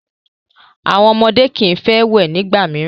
Àwọn ọmọdé kii fẹ wẹ̀ ni ìgbà mìíràn.